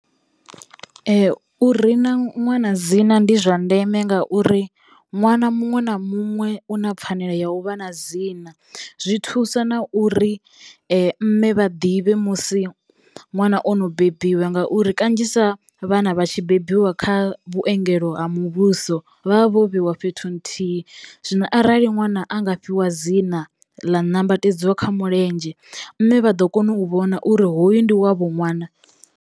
U rina ṅwana dzina ndi zwa ndeme ngauri nwana muṅwe na muṅwe u na pfanelo ya u vha na dzina, zwi thusa na uri mme vha ḓivhe musi ṅwana ono bebiwe ngauri kanzhisa vhana vha tshi bebiwa kha vhuengelo ha muvhuso vha vha vho vheiwa fhethu nthihi zwino arali ṅwana a nga fhiwa dzina ḽa nambatedzwa kha mulenzhe mme vha ḓo kona u vhona uri hoyu ndi wavho ṅwana.